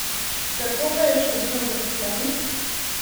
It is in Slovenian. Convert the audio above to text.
Kako pa je s številom zaposlenih?